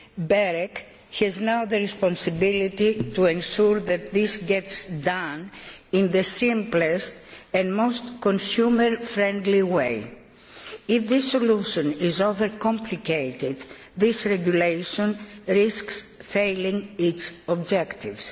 BEREC now has the responsibility for ensuring that this is done in the simplest and most consumer friendly way. If the solution is over complicated, this regulation risks failing its objectives.